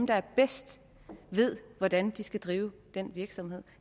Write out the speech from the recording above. der bedst ved hvordan de skal drive den virksomhed